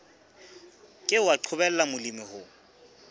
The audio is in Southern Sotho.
ke wa qobella molemi ho